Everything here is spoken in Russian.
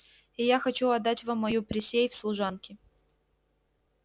и я хочу отдать вам мою присей в служанки